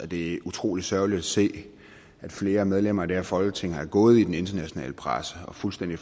det er utrolig sørgeligt at se at flere medlemmer af det her folketing er gået til den internationale presse og fuldstændig